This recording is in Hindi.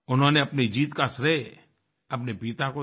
उन्होंने अपनी जीत का श्रेय अपने पिता को दिया